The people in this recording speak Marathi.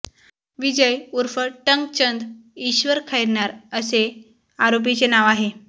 विजय उर्फ टंकचंद ईश्वर खैरनार असे आरोपीचे नाव आहे